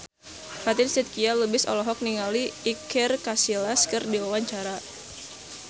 Fatin Shidqia Lubis olohok ningali Iker Casillas keur diwawancara